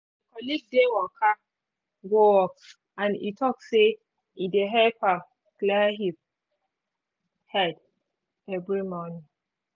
my colleague dey waka go work and e talk say e dey help am clear him um head um every morning